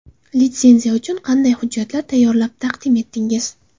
Litsenziya uchun qanday hujjatlar tayyorlab taqdim etdingiz?